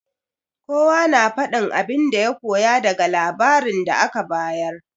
Kowa na faɗin abin da ya koya daga labarin da aka bayar.